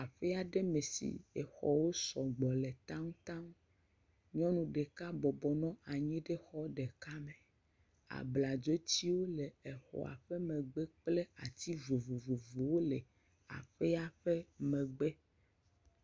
Aƒe aɖe me si xɔwo sɔgbɔ le taŋtaŋ. Nyɔnu ɖeka bɔbɔ nɔ anyi ɖe xɔ ɖeka me. Abladzotiwo le xɔa ƒe megbe kple ati vovovowo le aƒea ƒe megbe.